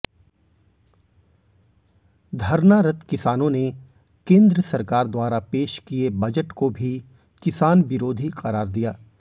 धरनारत किसानों ने केंद्र सरकार द्वारा पेश किये बजट को भी किसान विरोध करार दिया